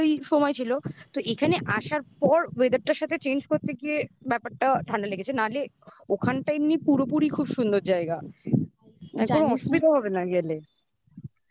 ভালোই সময় ছিল তো এখানে আসার পর weather টার সাথে change করতে গিয়ে ব্যাপারটা ঠান্ডা লেগেছে. নাহলে ওখানটা এমনি পুরোপুরি খুব সুন্দর জায়গা. অসুবিধা হবে না গেলে